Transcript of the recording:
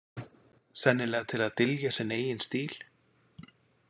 Sennilega til að dylja sinn eigin stíl.